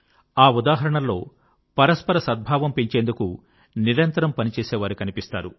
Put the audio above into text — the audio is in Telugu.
ఆ ఉదాహరణల్లో పరస్పర సద్భావం పెంచేందుకు నిరంతరం పని చేసే వారు కనిపిస్తారు